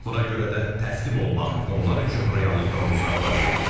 Buna görə də təslim olmaq onlar üçün reallıqdan uzaq variantdır.